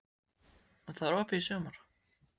Og það er opið í sumar?